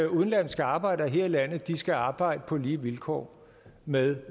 udenlandske arbejdere her i landet skal arbejde på lige vilkår med